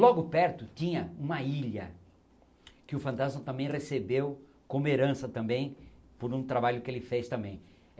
Logo perto tinha uma ilha que o Fantasma também recebeu como herança também por um trabalho que ele fez também.